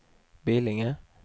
Billinge